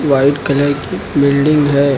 White colour की building है।